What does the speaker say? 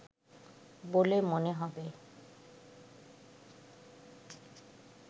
বলে মনে হবে